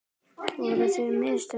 Voru það mistök?